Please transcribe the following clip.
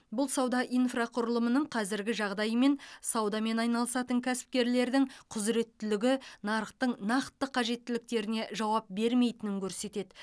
бұл сауда инфрақұрылымының қазіргі жағдайы мен саудамен айналысатын кәсіпкерлердің құзыреттілігі нарықтың нақты қажеттіліктеріне жауап бермейтінін көрсетеді